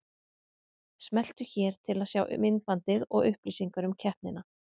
Smelltu hér til að sjá myndbandið og upplýsingar um keppnina